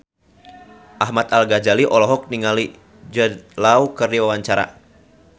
Ahmad Al-Ghazali olohok ningali Jude Law keur diwawancara